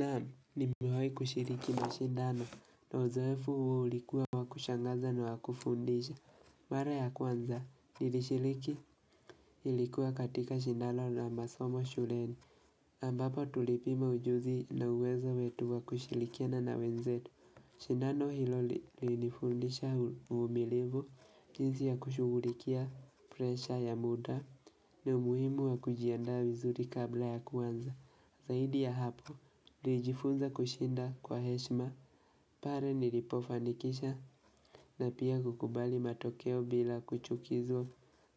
Naam, nimewahi kushiriki mashindano na uzoefu huo ulikuwa wa kushangaza na wa kufundisha. Mara ya kwanza nilishiriki ilikuwa katika shindano la masomo shuleni ambapo tulipima ujuzi na uwezo wetu wa kushirikiana na wenzetu. Shindano hilo lilifundisha uvumilivu jinsi ya kushughulikia presha ya muda na umuhimu wa kujiandaa vizuri kabla ya kuanza. Zaidi ya hapo, nilijifunza kushinda kwa heshima, pale nilipofanikisha na pia kukubali matokeo bila kuchukizwa,